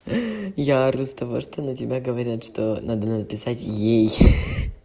я ору с того что на тебя говорят что надо написать ей